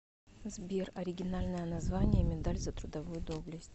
сбер оригинальное название медаль за трудовую доблесть